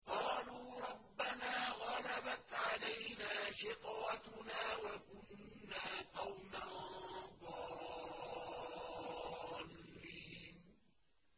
قَالُوا رَبَّنَا غَلَبَتْ عَلَيْنَا شِقْوَتُنَا وَكُنَّا قَوْمًا ضَالِّينَ